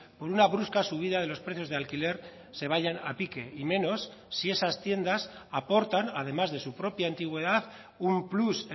por una brusca subida de los precios de alquiler se vayan a pique y menos si esas tiendas aportan además de su propia antigüedad un plus